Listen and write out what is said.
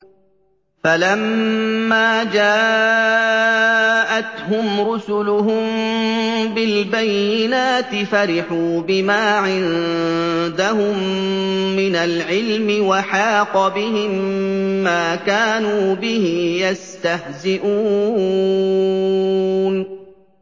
فَلَمَّا جَاءَتْهُمْ رُسُلُهُم بِالْبَيِّنَاتِ فَرِحُوا بِمَا عِندَهُم مِّنَ الْعِلْمِ وَحَاقَ بِهِم مَّا كَانُوا بِهِ يَسْتَهْزِئُونَ